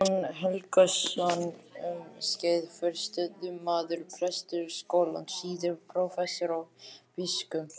Jón Helgason, um skeið forstöðumaður Prestaskólans, síðar prófessor og biskup.